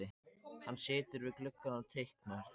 Hann situr við gluggann og teiknar.